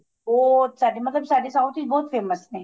ਉਹ ਸਾਡੇ ਮਤਲਬ ਸਾਡੇ south ਵਿੱਚ ਬਹੁਤ famous ਨੇ